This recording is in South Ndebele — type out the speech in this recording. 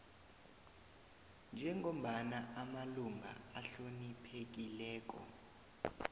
njengombana amalunga ahloniphekileko